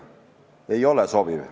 Ei ole sobiv.